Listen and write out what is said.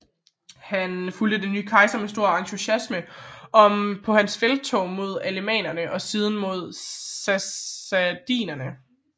Han fulgte den nye kejser med stor entusiasme på hans felttog mod alemannerne og siden mod sassaniderne